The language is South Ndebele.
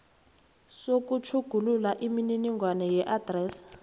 sokutjhugulula imininingwana yeadresi